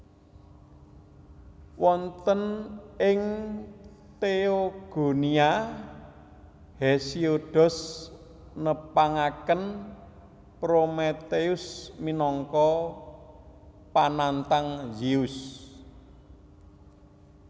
Wonten ing Theogonia Hesiodos nepangaken Prometheus minangka panantang Zeus